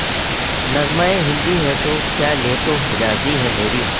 نغمہ ہندی ہے تو کیا لے تو حجازی ہے میری